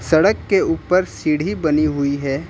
सड़क के ऊपर सीढ़ी बनी हुई है।